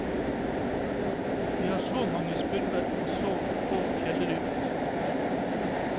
Vi har så mange spurver, og så få fjellryper.